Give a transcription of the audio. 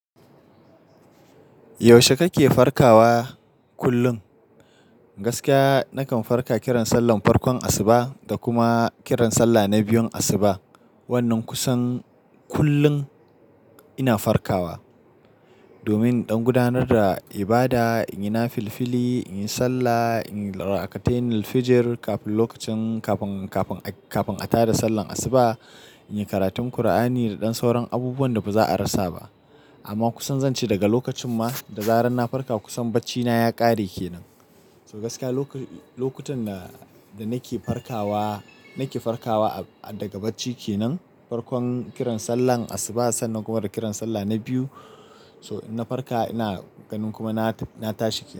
Yaushe kake farkawa kullum? Gaskiya nakan farka kiran sallar farkon asuba da kuma kiran sallah na biyun asuba. Wannan kusan kullum ina farkawa. Domin in ɗan gudanar da ibada, inyi nafilfili, inyi sallah, inyi raka'atainil-fijir kafin lokacin kafin, kafin, kafin a tada sallar asuba, inyi karatun kur'ani da ɗan sauran abubuwan da baza a rasa ba. Amma kusan zan ce daga lokacin ma, da zarar na farka kusan baccina ya ƙare kenan. So gaskiya loko-- lokutan da, da nake farkawa, nake farkawa a, daga bacci kenan. Farkon kiran sallar asuba sannan kuma da kiran sallah na biyu. So in na farka ina ganin kuma na, na tashi kenan.